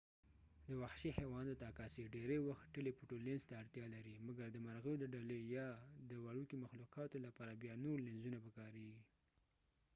د وحشي حیواناتو عکاسی ډیری وخت ټیلی فوټو لینز ته اړتیا لري مګر د مرغیو د ډلې یا د وړوکې مخلوقاتو لپاره بیا نور لینزونه پکاریږی